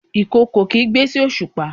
ìkookò kigbe sí osupa